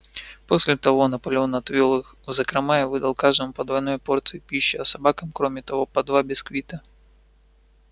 после того наполеон отвёл их в закрома и выдал каждому по двойной порции пищи а собакам кроме того по два бисквита